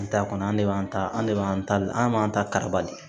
An t'a kɔnɔ an de b'an ta an ne b'an ta an b'an ta karibali